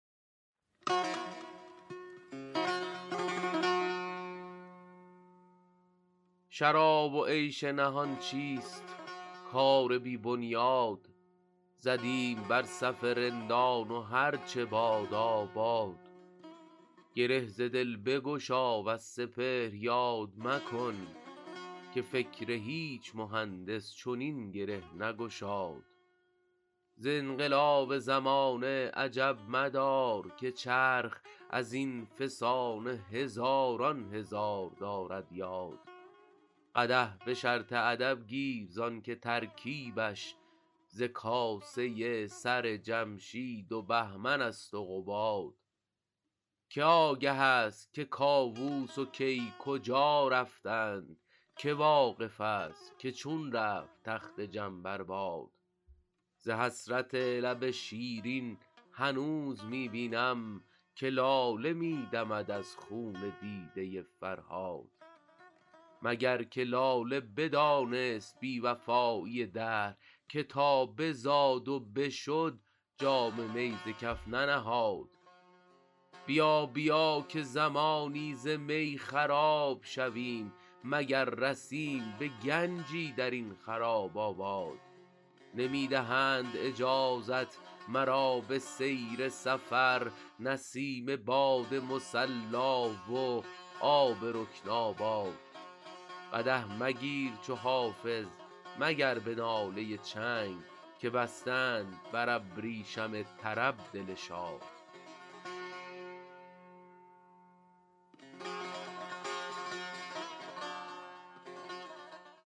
شراب و عیش نهان چیست کار بی بنیاد زدیم بر صف رندان و هر چه بادا باد گره ز دل بگشا وز سپهر یاد مکن که فکر هیچ مهندس چنین گره نگشاد ز انقلاب زمانه عجب مدار که چرخ از این فسانه هزاران هزار دارد یاد قدح به شرط ادب گیر زان که ترکیبش ز کاسه سر جمشید و بهمن است و قباد که آگه است که کاووس و کی کجا رفتند که واقف است که چون رفت تخت جم بر باد ز حسرت لب شیرین هنوز می بینم که لاله می دمد از خون دیده فرهاد مگر که لاله بدانست بی وفایی دهر که تا بزاد و بشد جام می ز کف ننهاد بیا بیا که زمانی ز می خراب شویم مگر رسیم به گنجی در این خراب آباد نمی دهند اجازت مرا به سیر سفر نسیم باد مصلا و آب رکن آباد قدح مگیر چو حافظ مگر به ناله چنگ که بسته اند بر ابریشم طرب دل شاد